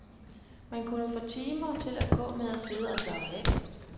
Man kunne få timer til at gå med at sidde og slappe af.